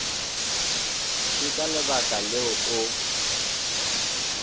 ke ka lebaka leo o